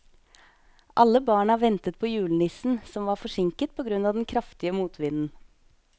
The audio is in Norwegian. Alle barna ventet på julenissen, som var forsinket på grunn av den kraftige motvinden.